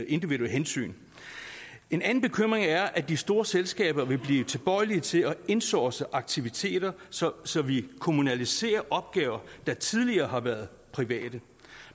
individuelle hensyn en anden bekymring er at de store selskaber vil blive tilbøjelige til at insource aktiviteter så så vi kommunaliserer opgaver der tidligere har været private